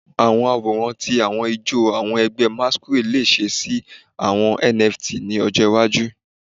Awọn aworan ti awọn ijó awọn ẹgbẹ masquerade le ṣe si awọn NFT ni ojo iwaju